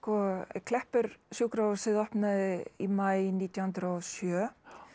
Kleppur opnaði í maí nítján hundruð og sjö